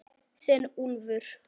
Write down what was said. Þinn Úlfur.